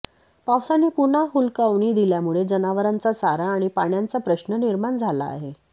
पावसाने पुन्हा हुलकावणी दिल्यामुळे जनावरांचा चारा आणि पाण्याचा प्रश्न निर्माण झाला आहे